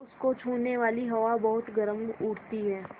तो उसको छूने वाली हवा बहुत गर्म हो उठती है